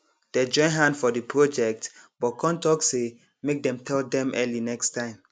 dey join hand for the project but con talk say make dem tell dem early next time